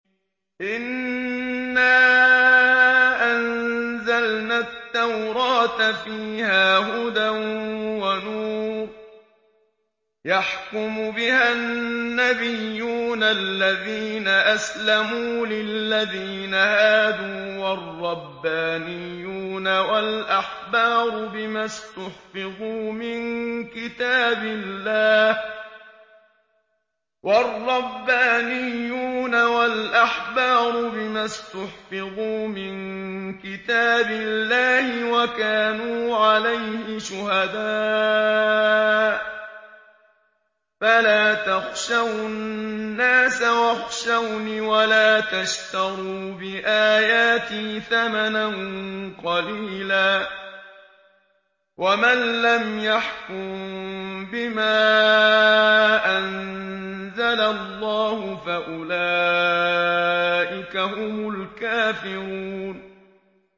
إِنَّا أَنزَلْنَا التَّوْرَاةَ فِيهَا هُدًى وَنُورٌ ۚ يَحْكُمُ بِهَا النَّبِيُّونَ الَّذِينَ أَسْلَمُوا لِلَّذِينَ هَادُوا وَالرَّبَّانِيُّونَ وَالْأَحْبَارُ بِمَا اسْتُحْفِظُوا مِن كِتَابِ اللَّهِ وَكَانُوا عَلَيْهِ شُهَدَاءَ ۚ فَلَا تَخْشَوُا النَّاسَ وَاخْشَوْنِ وَلَا تَشْتَرُوا بِآيَاتِي ثَمَنًا قَلِيلًا ۚ وَمَن لَّمْ يَحْكُم بِمَا أَنزَلَ اللَّهُ فَأُولَٰئِكَ هُمُ الْكَافِرُونَ